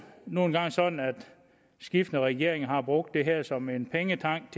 nu engang sådan at skiftende regeringer har brugt det her som en pengetank